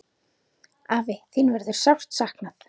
Afi, þín verður sárt saknað.